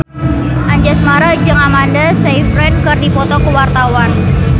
Anjasmara jeung Amanda Sayfried keur dipoto ku wartawan